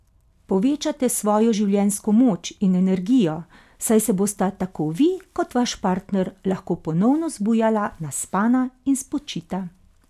Povečate svojo življenjsko moč in energijo, saj se bosta tako vi kot vaš partner lahko ponovno zbujala naspana in spočita!